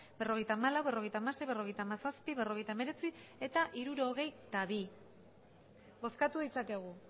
berrogeita hamalau berrogeita hamasei berrogeita hamazazpi berrogeita hemeretzi eta hirurogeita bi bozkatu ditzakegu